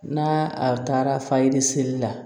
N'a a taara fayiri seli la